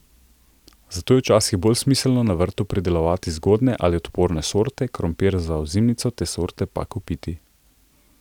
Zato je včasih bolj smiselno na vrtu pridelovati zgodnje ali odporne sorte, krompir za ozimnico te sorte pa kupiti.